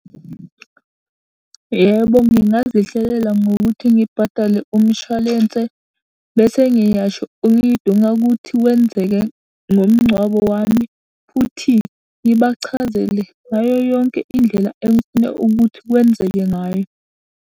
Yebo, ngingazihlelela ngokuthi ngibhadale umshwalense, bese ngiyasho engidinga ukuthi wenzeke ngomngcwabo wami, futhi ngibachazele ngayo yonke indlela engifuna ukuthi wenzeke ngayo.